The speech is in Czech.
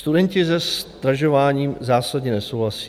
Studenti se zdražováním zásadně nesouhlasí.